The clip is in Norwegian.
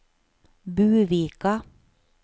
Buvika